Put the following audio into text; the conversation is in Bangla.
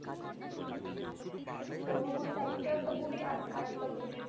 কোন বুড়িটা, দুটো একটা বুড়ি আছে আরেকটা বুড়ি